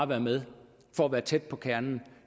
være med for at være tæt på kernen